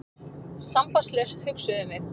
Sambandslaust, hugsuðum við.